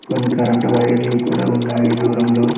కొన్ని కరెంటు వైర్లు కూడా ఉన్నాయి దూరంలో.